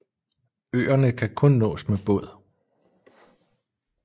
Øerne kan kun nås med båd